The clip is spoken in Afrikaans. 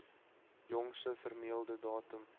jongste vermelde datum